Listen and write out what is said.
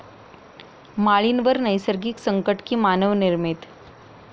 माळीणवर नैसर्गिक संकट की मानवनिर्मित?